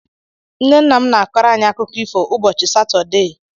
Nnenne m n'akọrọ anyị akụkọ ifo ụbọchị satọdee.